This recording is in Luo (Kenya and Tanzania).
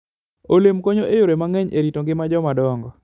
Olemb konyo e yore mang'eny e rito ngima joma dongo.